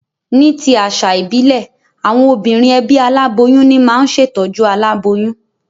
Ní ti àsà ìbílè, àwon obìnrin ebí aláboyún ní ma n se tójú aláboyún